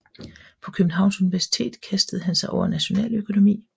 På Københavns Universitet kastede han sig over nationaløkonomi